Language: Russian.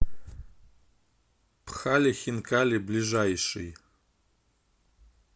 пхали хинкали ближайший